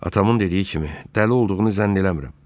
Atamın dediyi kimi, dəli olduğunu zənn eləmirəm.